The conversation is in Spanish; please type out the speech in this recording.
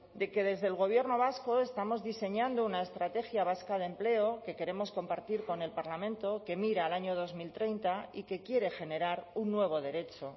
de que desde el gobierno vasco estamos diseñando una estrategia vasca de empleo que queremos compartir con el parlamento que mira al año dos mil treinta y que quiere generar un nuevo derecho